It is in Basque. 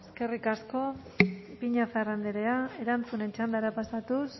eskerrik asko ipiñazar andrea erantzunen txandara pasatuz